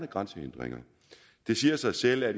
grænsehindringer det siger sig selv at